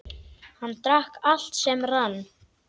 Hann drakk allt sem rann.